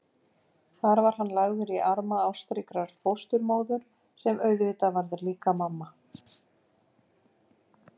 Þar var hann lagður í arma ástríkrar fósturmóður sem auðvitað varð líka mamma.